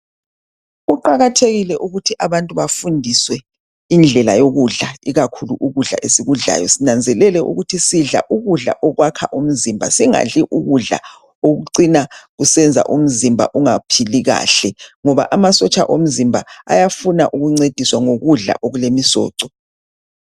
Kuqakathekile ukuthi abantu bafundiswe indlela yokudla ikakhulu ukudla esikudlayo. Sinanzelele ukuthi sidla ukudla okwakha umzimba, singadli ukudla okucina kusenza umzimba ungaphili kahle ngoba amasotsha omzimba ayafuna ukuncediswa ngokudla okulemisoco.